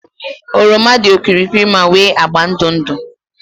oroma dị okirikiri ma nwee agba ndụ ndụ